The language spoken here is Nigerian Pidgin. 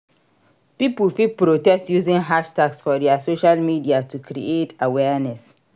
Pipo fit protest using hashtags for their social medial to create awearness